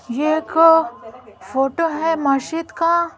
यह एक फोटो है मशीद का।